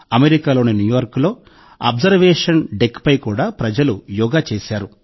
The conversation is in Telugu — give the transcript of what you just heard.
అమెరికాలోని న్యూయార్క్లోని అబ్జర్వేషన్ డెక్పై కూడా ప్రజలు యోగా చేశారు